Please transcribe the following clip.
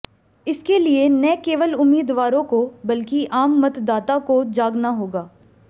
इसके लिये न केवल उम्मीदवारों को बल्कि आम मतदाता को जागना होगा